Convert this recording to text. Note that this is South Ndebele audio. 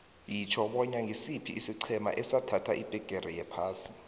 yitjho bona ngisiphi isiqhema esathatha ibhigiri yephasi